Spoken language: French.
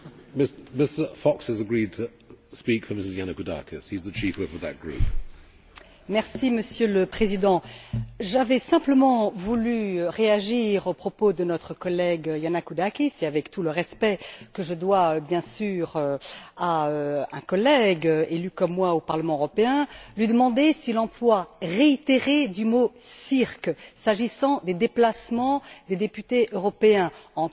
Monsieur le Président, j'avais simplement voulu réagir aux propos de notre collègue Yannakoudakis et avec tout le respect que je dois, bien sûr, à une collègue élue comme moi au Parlement européen, lui demander si l'emploi réitéré du mot cirque, s'agissant des déplacements des députés européens entre leur circonscription et les différentes villes de l'Union européenne, entre leur circonscription,